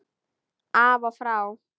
Af og frá!